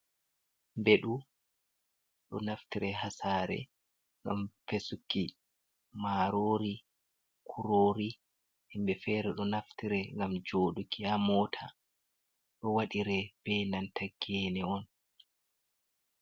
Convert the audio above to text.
Mbeɗu! Ɗo naftire haa saare, ngam wesuki maarori, kuroori. Himɓe feere ɗo naftire ngam jooɗuki haa mota. Ɗo waɗire be nanta geene on.